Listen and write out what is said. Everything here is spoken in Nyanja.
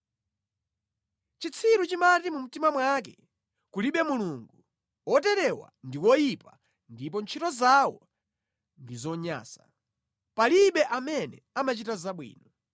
Chitsiru chimati mu mtima mwake, “Kulibe Mulungu.” Oterewa ndi oyipa ndipo ntchito zawo ndi zonyansa; palibe amene amachita zabwino.